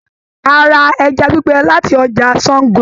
A ra ẹja gbígbẹ láti ọjà Sàngó.